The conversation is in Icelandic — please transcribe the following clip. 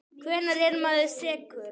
Hvenær er maður sekur?